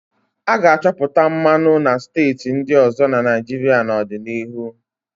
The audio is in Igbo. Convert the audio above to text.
A ga-achọpụta mmanụ na steeti ndị ọzọ na Naịjirịa n'ọdịnihu.